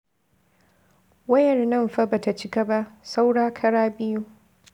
Wayar nan fa ba ta cika ba, saura kara biyu.